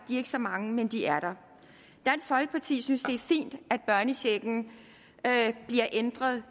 er ikke så mange men de er der dansk folkeparti synes det er fint at børnechecken bliver ændret